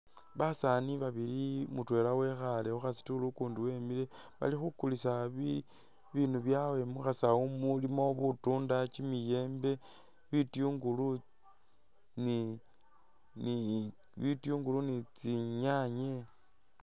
Basaani babili mutwela wekhale khukha stool ukundi wimile Bali khukulisa ibindu byawe mukhasawu mulimo butunda, kyimiyembe , bitunguli ni tsi nyaanye.